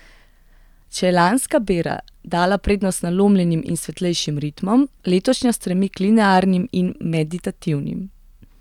Če je lanska bera dala prednost nalomljenim in svetlejšim ritmom, letošnja stremi k linearnim in meditativnim.